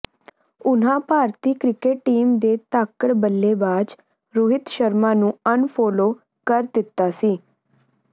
ਉਨ੍ਹਾਂ ਭਾਰਤੀ cricket team ਦੇ ਧਾਕੜ ਬੱਲੇਬਾਜ਼ ਰੋਹਿਤ ਸ਼ਰਮਾ ਨੂੰ ਅਨਫੋਲੋ ਕਰ ਦਿੱਤਾ ਸੀ